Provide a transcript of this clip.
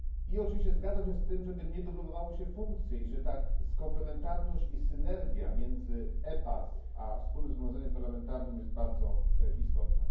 I oczywiście zgadzam się z tym, żeby nie dublowały się funkcje i że komplementarność i synergia między EPAs a Wspólnym Zgromadzeniem Parlamentarnym jest bardzo istotna.